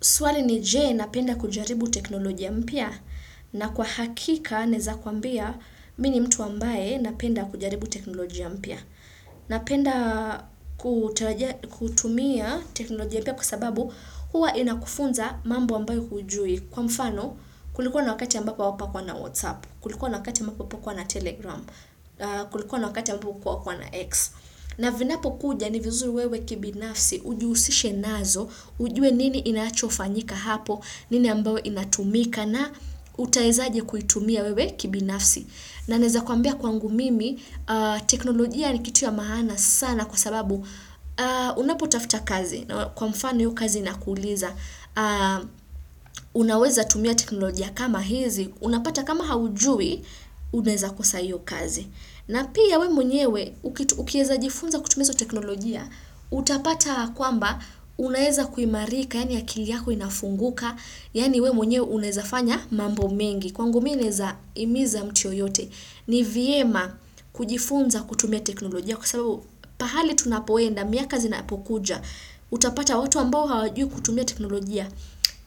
Swali ni je napenda kujaribu teknolojia mpya na kwa hakika naeza kuambia mini mtu ambaye napenda kujaribu teknolojia mpya. Napenda kutumia teknolojia mpya kwa sababu huwa inakufunza mambo ambayo hujui. Kwa mfano kulikuwa na wakati ambapo hapakuwa na Whatsapp, kulikuwa na wakati ambako hapakuwa na Telegram, kulikuwa na wakati ambako hapakuwa na X. Na vinapo kuja ni vizuri wewe kibinafsi, ujihusishe nazo, ujue nini inachofanyika hapo, nini ambayo inatumika na utaezaje kuitumia wewe kibinafsi. Na naeza kuambia kwangu mimi, teknolojia ni kitu ya maana sana kwa sababu unapotafta kazi, kwa mfano hio kazi inakuuliza, unaweza tumia teknolojia kama hizi, unapata kama haujui, unaeza kosa hio kazi. Na pia we mwenyewe, ukieza jifunza kutumia izo teknolojia, utapata kwamba unaeza kuimarika, yani akili yako inafunguka, yani we mwenyewe unaezafanya mambo mengi. Kwangu minaeza himiza mtu yeyote, ni vyema kujifunza kutumia teknolojia. Kwa sababu, pahali tunapoenda, miaka zinapokuja, utapata watu ambao hawajui kutumia teknolojia,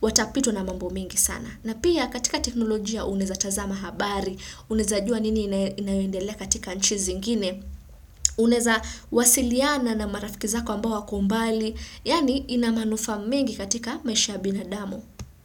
watapitwa na mambo mengi sana. Na pia katika teknolojia unaeza tazama habari, unaeza jua nini inayoendelea katika nchi zingine, unaeza wasiliana na marafiki zako ambao wako mbali, yaani ina manufaa mingi katika maisha ya binadamu.